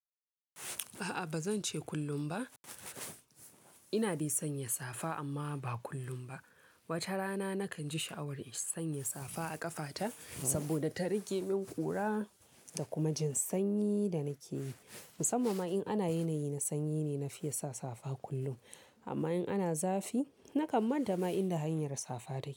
A'a ba zan ce kullum ba. Ina dai sanya safa amma ba kullum ba. Wata rana nakan ji sha'awar in sanya safa a ƙafata saboda ta rage min ƙura da kuma jin sanyi da nake yi. Musamman ma in ana yanayi na sanyi ne na fiya sa safa kullum. Amma in ana zafi nakan manta ma inda hanyar safa take.